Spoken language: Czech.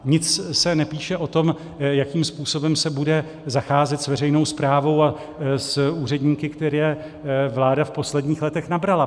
Nic se nepíše o tom, jakým způsobem se bude zacházet s veřejnou správou a s úředníky, které vláda v posledních letech nabrala.